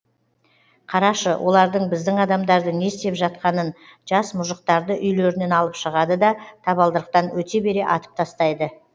қарашы олардың біздің адамдарды не істеп жатқанын жас мұжықтарды үйлерінен алып шығады да табалдырықтан өте бере атып тастайды